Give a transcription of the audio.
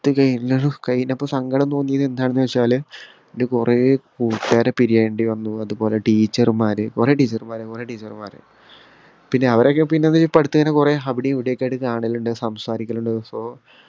അത് കയിഞ്ഞതും കയിഞ്ഞപ്പോ സങ്കടം തോന്നിയത് എന്താണെന്ന് വച്ചാല് ന്റെ കൊറേ കൂട്ടുകാരെ പിരിയാനിണ്ട് അന്ന് അതുപോലെ teacher മാരെ കൊറേ teacher മാരെ കൊറേ teacher മാര് പിന്നെ അവരെ ഒക്കെ പിന്നെ ഇതേ ഇപ്പൊ അടുത്തെന്നേ കൊറേ അവിടേം ഇവിടേം ഒക്കെ ആയിട്ട് കാണലിണ്ട് സംസാരിക്കലിണ്ട് so